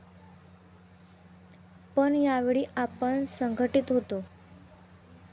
पण यावेळी आपण संघटीत होतो.